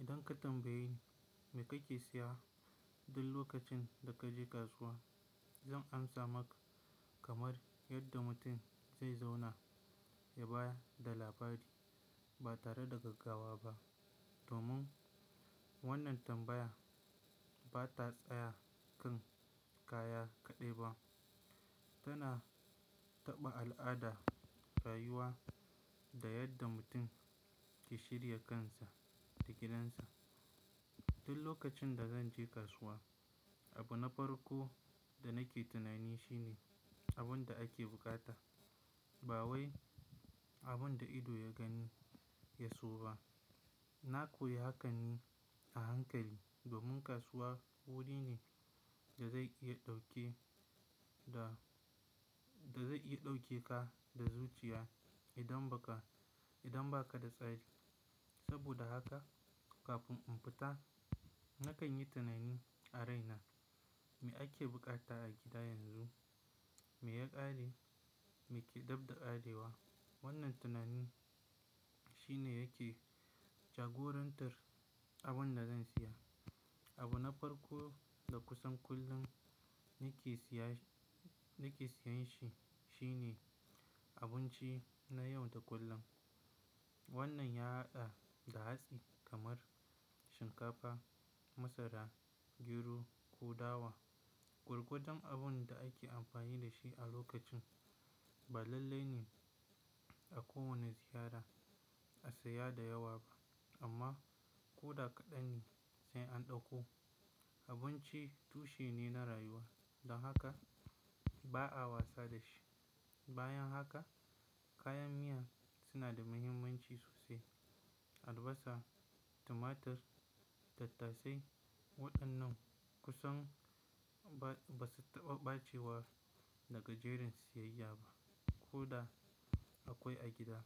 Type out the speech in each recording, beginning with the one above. Idan ka tambayi ni me kake siyarwa duk lokacin da ka je kasuwa, zan amsa maka kamar yadda mutum zai zauna ya bayar da labari ba tare da gaggawa ba. Domin wannan tambaya bata tsaya kan kaya kaɗai ba, tana taɓa al'ada, rayuwa da yadda mutum ke shirya kansa da gidansa. Duk lokacin da zan je kasuwa, abu na farko da nake tunani shine abun da ake bukata, ba wai abun da ido ya gani ya so ba. Na koyi hakan a hankali domin kasuwa wuri ne da zai iya ɗauke ka da zuciya idan ba ka da tsari. Saboda haka kafin in fita, nakan yi tunani a raina me ake bukata a gida yanzu, me ya ƙare, me ke dabda ƙarewa. Wannan tunani shine yake jagorantar abun da zan siya. Abu na farko da kusan kullum nake siyanshi shine abinci na yau da kullum. Wannan ya haɗa da hatsi kamar shinkafa, masara, gyro ko dawa. Gurgoɗin abin da ake amfani da shi a lokacin ba lallai ne a kowane ziyara a siya da yawa ba amma ko da kaɗan ne zai anɗauko. Abinci tushe ne na rayuwa don haka ba'a wasa da shi. Bayan haka, kayan miya suna da muhimmanci sosai. Albasa, tumatir, tattasai waɗannan kusan ba su taɓa ɓacewa daga jerin siyayya ba. Ko da akwai a gida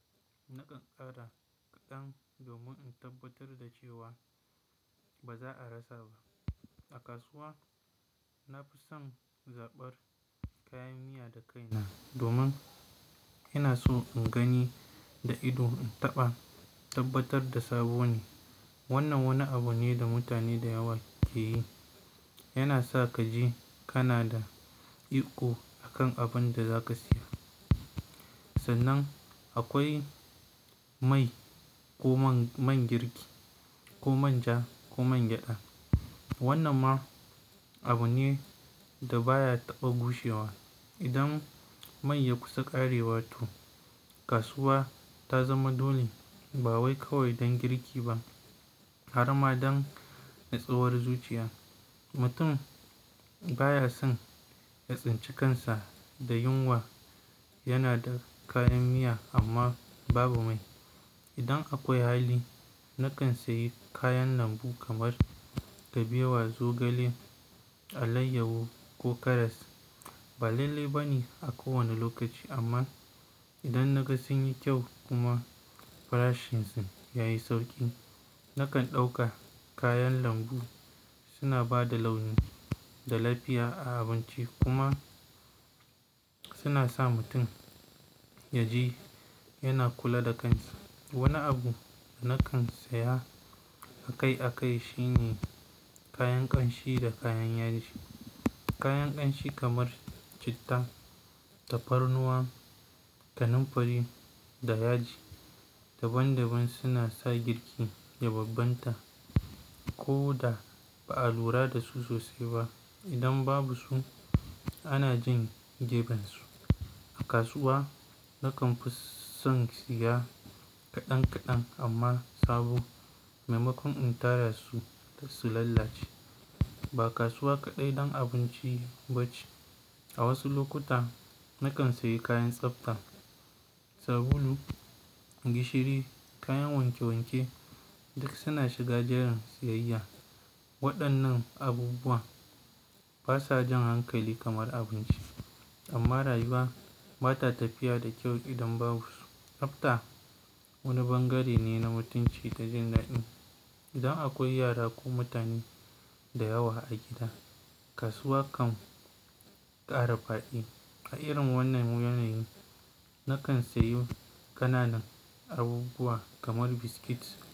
nakan kara kadan domin in tabbatar da cewa, ba za a rassa ba. A kasuwa, na fi son zaɓar kayan miya da kaina domin ina so in gani da ido in taba tabbatar da sabo ne. Wannan wani abu ne da mutane da yawa ke yi. Yana sa ka ji kana da iko akan abun da za ka siya. Sannan akwai mai, ko man girki ko manja ko man gyaɗa. Wannan ma abu ne da baya taɓa gushewa. Idan mai ya kusa ƙarewa toh, kasuwa ta zama dole ba wai kawai don girki ba har ma idan na tsawar zuciya. Mutum baya son ya tsinci kansa da yunwa yana da kayan miya amma babu mai. Idan akwai hali, nakan sayi kayan lambu kamar: kabewa, zogale, alayyahu ko karas. Ba lallai bane a kowanne lokaci, ama in dan na ga sun yi kyau kuma farashinsu na da sauki, na kan dauka. Kayan lambu su na ba da launi da lafiya a abinci kuma, su na mutun ya ji yana kulla da kansa. Wanni abun da nakan siya akai akai shine kayan kanshi da kuma kayan yaji. Kayan kanshi kamar: chitta, tafarnuwa, kanamfari da yaji, daban daban suna sa girki ya bambamta ko da ba lura da su sosai ba. Idan babu su a na jan gefensu. A kasuwa na kan kus san shiga kadan kadan ama sabo. Maimakon in tara su su lalace. Ba kasuwa kaɗai don abinci ba ce. A wasu lokuta nakan siye kayan tsabta: sabulu, gishiri, kayan wanke wanke, duk suna shiga jeran siyayya wadannan abubuwa basuwa jan hankali kamar abinci ama rayuwa ba ta tafiya da kyau idan babu su, tsabta wani bangare ne na mutunci da jin dadin. Idan akwai yara ko mutane da yawa a gida, kasuwa kan ƙara faɗi. A irin wannan wuyanlin nakan seyi kananan abubuwa kamar biscuit.